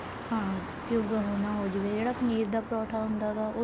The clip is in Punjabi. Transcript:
ਹਾਂ ਕਿਉਂਕਿ ਉਹ ਨਾ ਹੋ ਜਾਵੇ ਜਿਹੜਾ ਪਨੀਰ ਦਾ ਪਰੋਂਠਾ ਹੁੰਦਾ ਹੈਗਾ